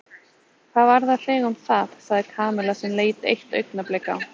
Hvað varðar þig um það? sagði Kamilla sem leit eitt augnablik á